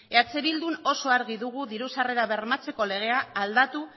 eh bildun oso argi dugu diru sarrera bermatzeko legea aldatu